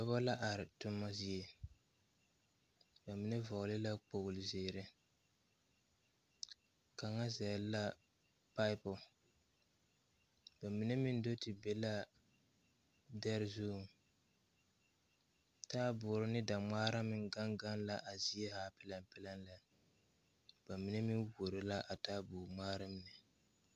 Nobɔ la are toma zie ba mine vɔgle la kpogle zeere kaŋa zɛle la pipu ba mine meŋ do ti be laa dɛre zuŋ taaboore ne dangmaara meŋ gaŋ gaŋ la a zie haa pilɛŋ pilɛŋ lɛ ba mine meŋ wuoro la a taabo ngmaara mine.